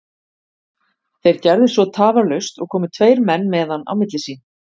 Þeir gerðu svo tafarlaust og komu tveir menn með hann á milli sín.